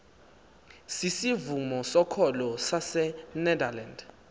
sisivumo sokholo sasenederland